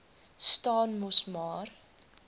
staan mos maar